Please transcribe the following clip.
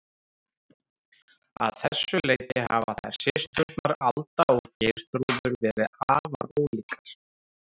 Að þessu leyti hafa þær systurnar, Alda og Geirþrúður, verið afar ólíkar.